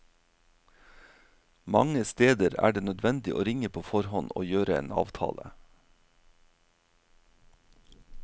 Mange steder er det nødvendig å ringe på forhånd og gjøre en avtale.